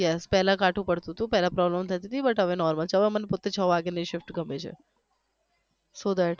yes પહેલા કાઠું પડતું હતું પહેલા prbolem થતી હતી but હવે normal હવે મને પોતે છ વાગ્યાની shift ગમે છે so that